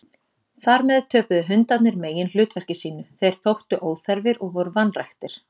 Þar með töpuðu hundarnir meginhlutverki sínu, þeir þóttu óþarfir og voru vanræktir.